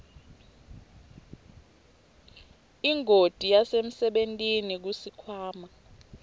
ingoti yasemsebentini kusikhwama